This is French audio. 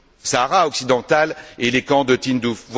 Sahara occidental et les camps de Tindouf.